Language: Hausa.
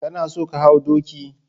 Kana son ka hau doki?